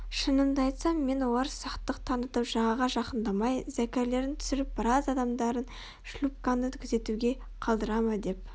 шынымды айтсам мен олар сақтық танытып жағаға жақындамай зәкірлерін түсіріп біраз адамдарын шлюпканы күзетуге қалдыра ма деп